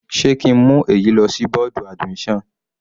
Sé ki ń mú èyí lọ sí bọ́ọ̀dù admission?